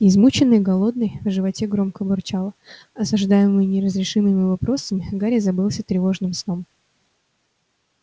измученный голодный в животе громко бурчало осаждаемый неразрешимыми вопросами гарри забылся тревожным сном